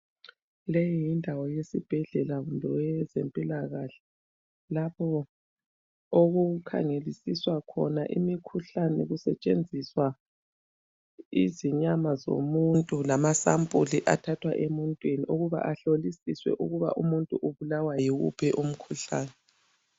Leyi yindawo yesibhedlela kumbe yezempilakahle lapho okukhangelelisiswa khona imikhuhlane kusetshenziswa izinyama zomuntu lamasampuli athathwa emuntwini ukuba ahlolisiswe ukuba umuntu ubulawa yiwuphi umkhuhlane.